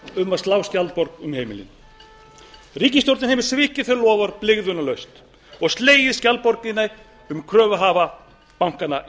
um að slá skjaldborg um heimilin ríkisstjórnin hefur svikið þau loforð blygðunarlaust og slegið skjaldborgina um kröfuhafa bankanna í